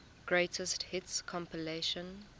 greatest hits compilation